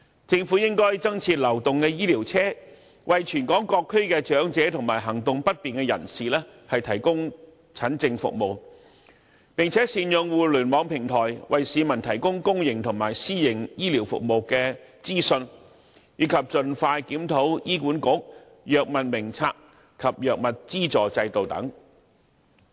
政府應增設流動醫療車，為全港各區的長者及行動不便人士提供診症服務；並善用互聯網平台，為市民提供公營和私營醫療服務的資訊，以及盡快檢討醫管局《藥物名冊》及藥物資助制度等。